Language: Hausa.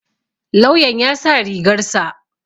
Lauyan ya sa rigar sa.